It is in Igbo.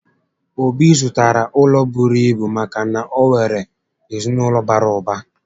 Obi zụtara ụlọ bụrụ ibu maka na o nwèrè ezinaụlọ bàrà ụba